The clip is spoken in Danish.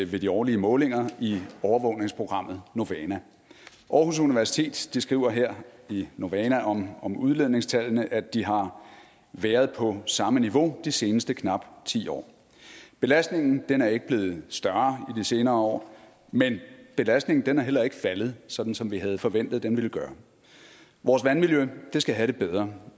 ved de årlige målinger i overvågningsprogrammet novana aarhus universitet skriver her i novana om udledningstallene at de har været på samme niveau i de seneste knap ti år belastningen er ikke blevet større i de senere år men belastningen er heller ikke faldet sådan som vi havde forventet den ville gøre vores vandmiljø skal have det bedre